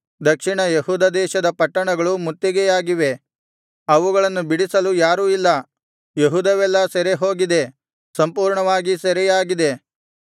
ದಕ್ಷಿಣ ಯೆಹೂದ ದೇಶದ ಪಟ್ಟಣಗಳು ಮುತ್ತಿಗೆಯಾಗಿವೆ ಅವುಗಳನ್ನು ಬಿಡಿಸಲು ಯಾರೂ ಇಲ್ಲ ಯೆಹೂದವೆಲ್ಲಾ ಸೆರೆಹೋಗಿದೆ ಸಂಪೂರ್ಣವಾಗಿ ಸೆರೆಯಾಗಿದೆ